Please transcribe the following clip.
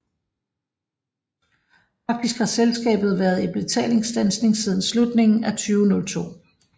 Faktisk har selskabet været i betalingsstandsning siden slutningen af 2002